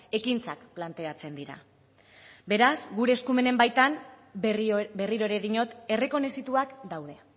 ekintzak planteatzen dira beraz gure eskumenen baitan berriro ere diot errekonozituak daude